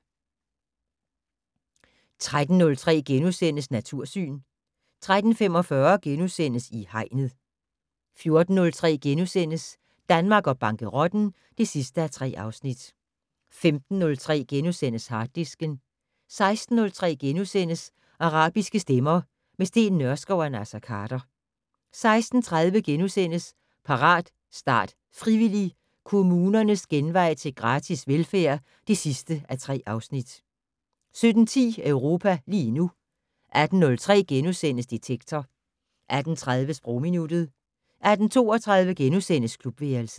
13:03: Natursyn * 13:45: I Hegnet * 14:03: Danmark og bankerotten (3:3)* 15:03: Harddisken * 16:03: Arabiske stemmer - med Steen Nørskov og Naser Khader * 16:30: Parat, start, frivillig! - Kommunernes genvej til gratis velfærd (3:3)* 17:10: Europa lige nu 18:03: Detektor * 18:30: Sprogminuttet 18:32: Klubværelset *